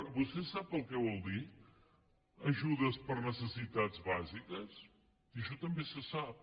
vostè sap el que vol dir ajudes per necessitats bàsiques i això també se sap